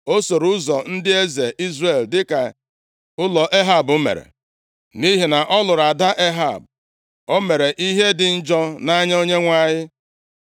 O soro ụzọ ndị eze Izrel dịka ụlọ Ehab mere, nʼihi na ọ lụrụ ada Ehab. O mere ihe dị njọ nʼanya Onyenwe anyị.